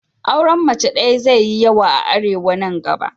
Auren mace daya zai yi yawa a Arewa nan gaba.